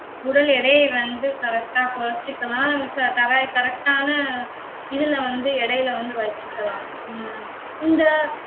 உடல் எடையை வந்து correct ஆ குறைச்சுக்கலாம். correc~ correct ஆன இதுல வந்து எடையில வந்து வெச்சுக்கலாம். உம் இந்த